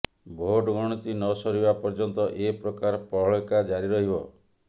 vote ଗଣତି ନସରିବା ପର୍ଯ୍ୟନ୍ତ ଏପ୍ରକାର ପ୍ରହେଳିକା ଜାରି ରହିବ